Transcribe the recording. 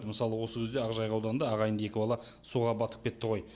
мысалы осы күзде ақжайық ауданында ағайынды екі бала суға батып кетті ғой